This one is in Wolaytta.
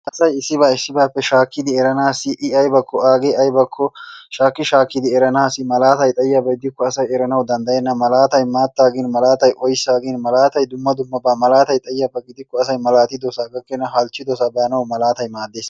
Asay issiba issibappe shakkidi eranassi I aybakko go'ay agee aybakko shakki shakkidi eranaassi malaatay xayiyaba gidikko asay eranawu danddayena. Malaatay maatta gin, malaatay oyssa gin, malaatay dumma dummaba. Malaatay xayiyaba gidiko asay malaatosaa gakkena halchchidosa baanawu malaatay maadees.